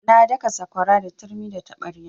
Na daka sakwara da turmi da taɓarya.